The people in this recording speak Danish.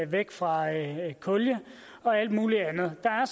væk fra kul og alt muligt andet der er